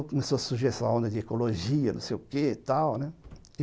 começou a surgir essa onda de ecologia, não sei o quê e tal, né?